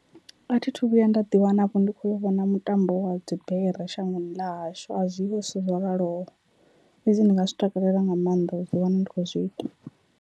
A thi thu vhuya nda ḓi wana vho ndi khou vhona mutambo wa dzi bere shangoni ḽa hashu a zwiho zwithu zwo raloho, fhedzi ndi nga zwi takalela nga maanḓa u ḓi wana ndi kho zwi ita.